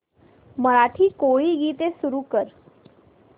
मराठी कोळी गीते सुरू कर